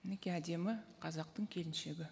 мінеки әдемі қазақтың келіншегі